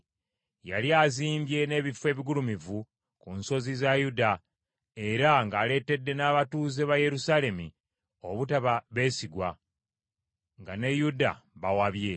Yali azimbye n’ebifo ebigulumivu ku nsozi za Yuda, era ng’aleetedde n’abatuuze ba Yerusaalemi obutaba beesigwa, nga ne Yuda bawabye.